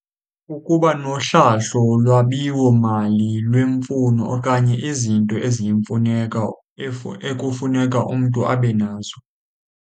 Ukuba nohlahlo lwabiwo mali lwemfuno okanye izinto eziyimfuneko ekufuneka umntu abe nazo.